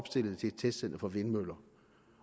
stillede til et testcenter for vindmøller